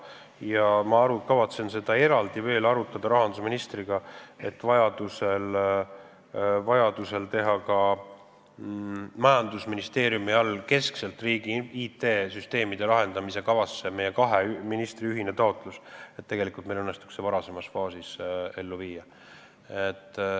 Ja ma kavatsen seda veel eraldi rahandusministriga arutada, et vajadusel teha kahe ministri ühine taotlus majandusministeeriumile, kes haldab keskset riigi IT-süsteemide arendamise kava, et meil õnnestuks see IT-lahendus varasemas faasis ellu viia.